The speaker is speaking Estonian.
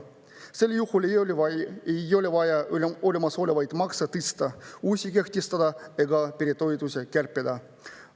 Sel juhul ei oleks vaja olemasolevaid makse tõsta, uusi kehtestada ega peretoetusi kärpida.